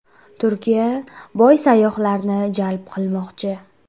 Turkiya boy sayyohlarni jalb qilmoqchi.